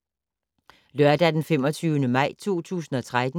Lørdag d. 25. maj 2013